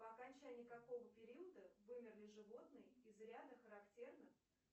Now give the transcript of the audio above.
по окончании какого периода вымерли животные из ряда характерных